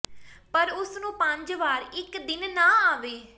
ਪਰ ਉਸ ਨੂੰ ਪੰਜ ਵਾਰ ਇੱਕ ਦਿਨ ਨਾ ਆਵੇ